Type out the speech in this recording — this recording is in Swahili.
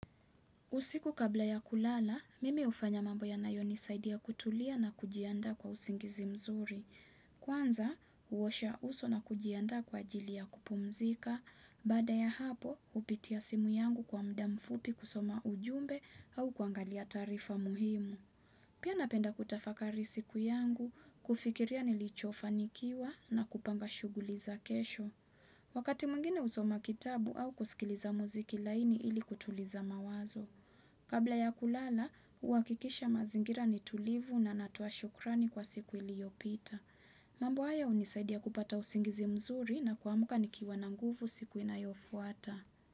Usiku kabla ya kulala, mimi hufanya mambo yanayonisaidia kutulia na kujianda kwa usingizi mzuri. Kwanza, huosha uso na kujiandaa kwa ajili ya kupumzika. Baada ya hapo, hupitia simu yangu kwa muda mfupi kusoma ujumbe au kuangalia taarifa muhimu. Pia napenda kutafakari siku yangu, kufikiria nilichofanikiwa na kupanga shughuli za kesho. Wakati mwingine husoma kitabu au kusikiliza muziki laini ili kutuliza mawazo. Kabla ya kulala, huakikisha mazingira ni tulivu na natoa shukrani kwa siku iliopita. Mambo haya hunisaidia kupata usingizi mzuri na kuamuka nikiwa na nguvu siku inayofuata.